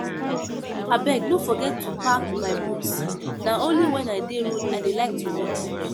Abeg no forget to pack my books. Na only wen I dey road I dey like to read